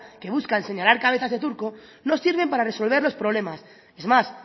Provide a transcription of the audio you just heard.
que buscan señalar cabezas de turco no sirven para resolver los problemas es más